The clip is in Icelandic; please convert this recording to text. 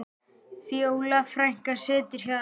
Fjóla frænka situr hjá þeim.